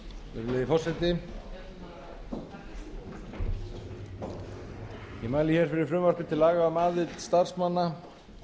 virðulegi forseti ég mæli hér fyrir frumvarpi til laga um aðild starfsmanna